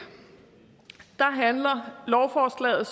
handler lovforslaget